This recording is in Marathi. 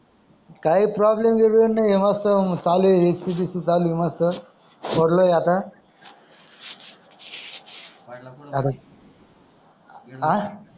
काही प्रोब्लम गीब्लेम नाही मस्त एसिबिसी चालू आहे चालू आहे मस्त सोडलय आता मन्टल आता हा